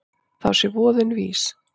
Þá sé voðinn vís.